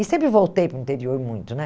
E sempre voltei para o interior muito né.